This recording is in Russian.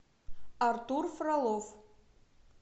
артур фролов